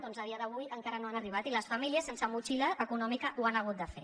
doncs a dia d’avui encara no han arribat i les famílies sense motxilla econòmica ho han hagut de fer